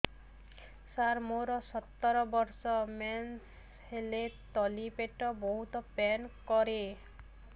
ସାର ମୋର ସତର ବର୍ଷ ମେନ୍ସେସ ହେଲେ ତଳି ପେଟ ବହୁତ ପେନ୍ କରେ